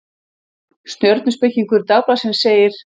Stjörnuspekingur Dagblaðsins segir: